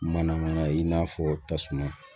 Manamana ye i n'a fɔ tasuma